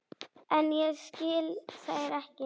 En ég skil þær ekki.